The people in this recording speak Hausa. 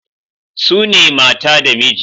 Sune mata da miji